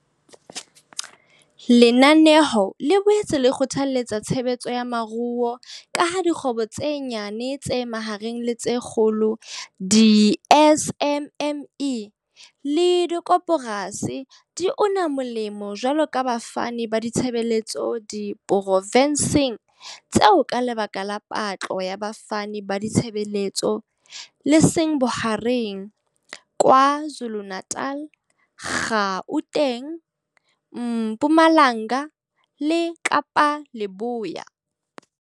Lenanelo le boetse le kgothaletsa tshebetso ya moruo ka ha dikgwebo tse nyane, tse mahareng le tse kgolo, di-SMME, le dikoporasi di una molemo jwaloka bafani ba ditshebeletso diprofenseng tseo ka lekala la patlo ya bafani ba ditshebeletso le seng bohareng, KwaZulu-Natal, Gauteng, Mpumalanga le Kapa Leboya.